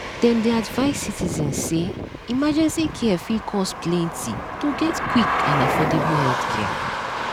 dem dey advise citizens say emergency care fit cost plenty to get quick and affordable healthcare.